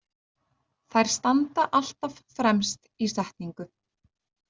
Þær standa alltaf fremst í setningu.